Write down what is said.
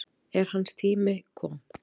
En hans tími kom.